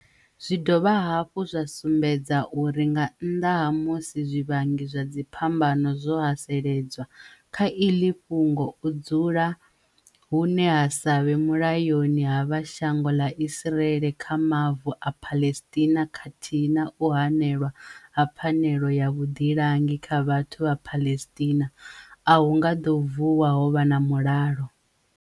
Zwi dovha hafhu zwa sumbedza uri nga nnḓa ha musi zwivhangi zwa dzi phambano zwo hasele dzwa, kha iḓi fhungo, u dzu la hune ha sa vhe mulayoni ha vha shango ḓa Israel kha mavu a Palestine khathihi na u hanelwa ha pfanelo ya vhuḓilangi kha vhathu vha Palestine, a hu nga ḓo vuwa ho vha na mulalo.